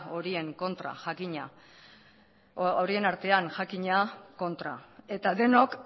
horien artean jakina eta denok